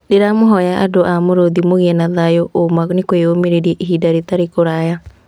Ndĩramũhoya andũ a Mũrũthi mũgĩe na thayũ ũũma nĩũkwĩyumĩria ihinda rĩtarĩ kũraya.